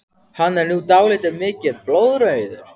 Hann er nú dálítið mikið blóðrauður!